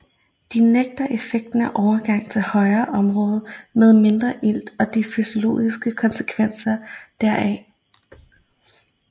De nægter effekten af overgang til højere områder med mindre ilt og de fysiologiske konsekvenser deraf